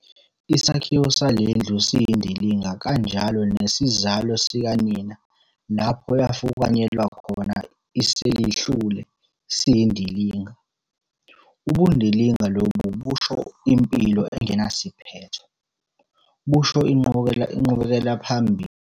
Isakhiwo sale ndlu siyindilinga kanjalo nesizalo sikanina lapho yafukanyelwa khona iselihlule siyindilinga. Ubundilinga lobu busho impilo engenasiphetho, busho inqubekela phambili ngoba vele indilinga ayinasiqalo, ayinasiphetho.